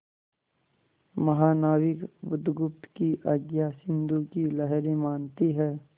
महानाविक बुधगुप्त की आज्ञा सिंधु की लहरें मानती हैं